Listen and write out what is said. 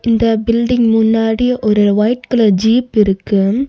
இந்த பில்டிங் முன்னாடி ஒரு ஒயிட் கலர் ஜீப் இருக்கு.